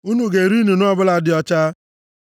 Unu ga-eri nnụnụ ọbụla dị ọcha,